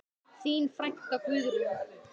Þín frænka, Guðrún.